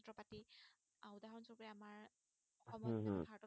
উহ হম